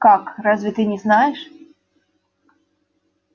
как разве ты не знаешь